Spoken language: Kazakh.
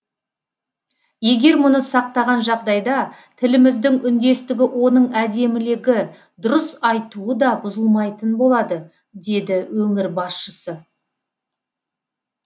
егер мұны сақтаған жағдайда тіліміздің үндестігі оның әдемілігі дұрыс айтуы да бұзылмайтын болады деді өңір басшысы